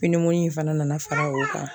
in fana nana fara o kan